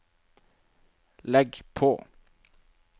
legg på